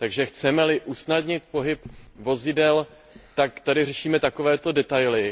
Chceme li usnadnit pohyb vozidel, tak tady neřešme takové detaily.